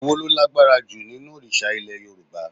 Èwo lo lágbára ju nínú òrìsà Ilẹ̀ Yorùbá?